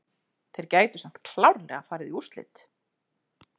Þeir gætu samt klárlega farið í úrslit.